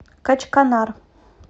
качканар